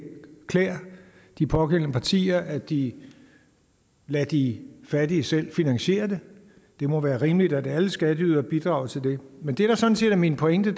klæder de pågældende partier at de lader de fattige selv finansiere det det må være rimeligt at alle skatteydere bidrager til det men det der sådan set er min pointe